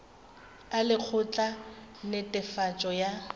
a lekgotla la netefatšo ya